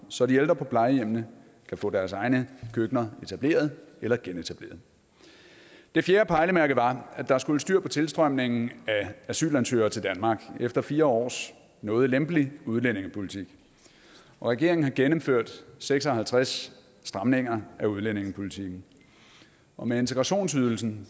så de ældre på plejehjemmene kan få deres egne køkkener etableret eller genetableret det fjerde pejlemærke var at der skulle styr på tilstrømningen af asylansøgere til danmark efter fire års noget lempelig udlændingepolitik regeringen har gennemført seks og halvtreds stramninger af udlændingepolitikken og med integrationsydelsen